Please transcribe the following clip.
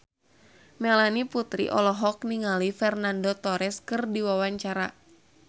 Melanie Putri olohok ningali Fernando Torres keur diwawancara